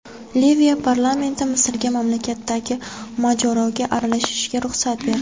Liviya parlamenti Misrga mamlakatdagi mojaroga aralashishga ruxsat berdi.